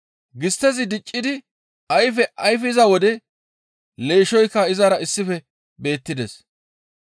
Gisttezi diccidi ayfe ayfiza wode leeshshoyka izara issife beettides.